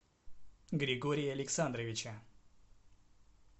григория александровича